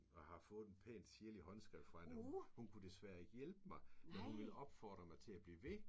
Og har fået en pæn sirlig håndskrift fra hende at hun kunne desværre ikke hjælpe mig men hun ville opfordre mig til at blive ved